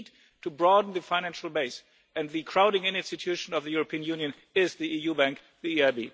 We need to broaden the financial base, and the crowding in institution of the European Union is the EU bank, the EIB.